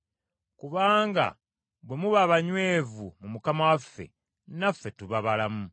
Kubanga bwe muba abanywevu mu Mukama waffe, naffe tuba balamu.